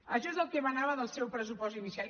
això és el que emanava del seu pressupost inicial